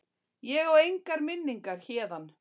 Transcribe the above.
Ég á engar minningar héðan.